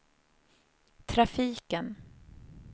trafiken